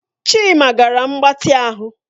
Chima gara mgbatị ahụ